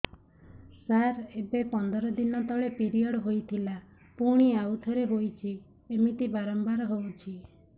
ସାର ଏବେ ପନ୍ଦର ଦିନ ତଳେ ପିରିଅଡ଼ ହୋଇଥିଲା ପୁଣି ଆଉଥରେ ହୋଇଛି ଏମିତି ବାରମ୍ବାର ହଉଛି